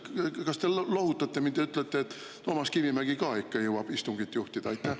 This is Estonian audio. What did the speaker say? Kas te lohutate mind ja ütlete, et Toomas Kivimägi ka ikka jõuab istungit juhatada?